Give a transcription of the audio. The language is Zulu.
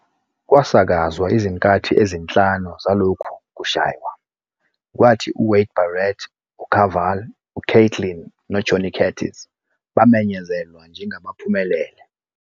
Kwasakazwa izinkathi ezinhlanu zalokhu kushaywa, kwathi uWade Barrett, uKaval, uKaitlyn noJohnny Curtis bamenyezelwa njengabaphumelele.